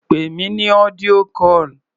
Pè mí ní audio call.